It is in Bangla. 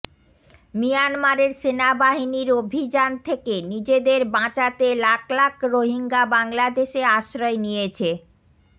মিয়ানমারের সেনাবাহিনীর অভিযান থেকে নিজেদের বাঁচাতে লাখ লাখ রোহিঙ্গা বাংলাদেশে আশ্রয় নিয়েছে